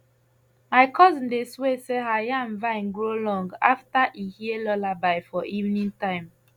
my cousin dey swear say her yam vine grow long after e hear lullaby for evening time